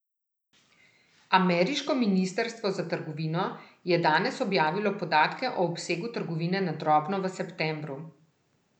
Ameriško ministrstvo za trgovino, je danes objavilo podatke o obsegu trgovine na drobno v septembru.